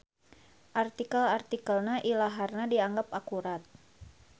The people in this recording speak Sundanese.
Artikel-artikelna ilaharna dianggep akurat.